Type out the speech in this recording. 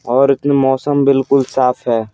और मौसम बिल्कुल साफ है।